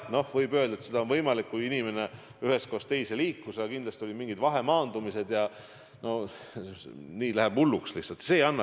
Noh, seda on võimalik tuvastada, kui inimene ühest kohast teise liikus, aga on ju ka mingid vahemaandumised jne – nii läheb asi lihtsalt hulluks kätte.